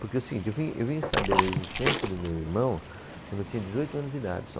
Porque o seguinte, eu vim, eu vim saber da existência do meu irmão quando eu tinha dezoito anos de idade só.